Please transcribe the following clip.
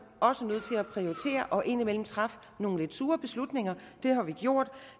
også nødt til at prioritere og indimellem træffe nogle lidt sure beslutninger det har vi gjort